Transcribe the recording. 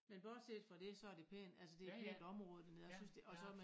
Men bortset fra det så det pænt altså det et pænt område dernede jeg synes det og så med